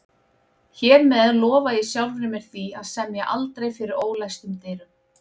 Hér með lofa ég sjálfri mér því að semja aldrei fyrir ólæstum dyrum